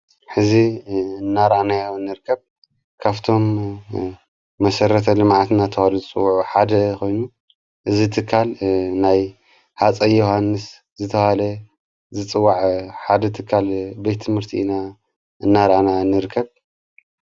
ሕዚ እናራእናያ ንርከብ ካፍቶም መሠረተ ልማዓትናተዋለ ዝጽዉዑ ሓደ ኾይኑ ዝትካል ናይ ሓፀ ዮሓንስ ዝተሃለ ዝጽዋዕ ሓደ እትካል ቤቲ ምህርቲ ኢና እናራኣና ንርከብ።